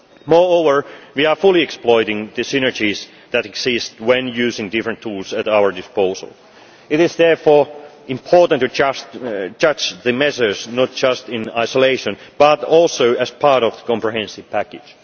Moreover, we are fully exploiting the synergies that exist when using the different tools at our disposal. It is therefore important to judge the measures not just in isolation but also as part of the comprehensive package.